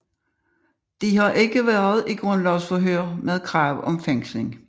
De har ikke været i grundlovsforhør med krav om fængsling